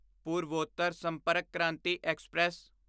Purvottar Sampark Kranti express